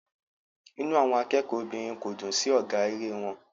Inú àwọn akẹ́kọ̀ọ́ obìnrin kò dùn sí ọ̀gá eré wọn.